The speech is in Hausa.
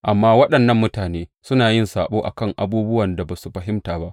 Amma waɗannan mutane suna yin saɓo a kan abubuwan da ba su fahimta ba.